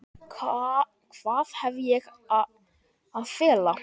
Hvað hef ég að fela?